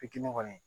Fitinin kɔni